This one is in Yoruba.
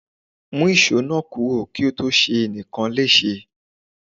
Mú ìṣó náà kúrò kí ó tó ṣe ẹnìkan léṣe.